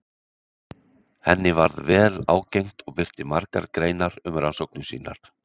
Henni varð vel ágengt og birti margar greinar um rannsóknir sínar.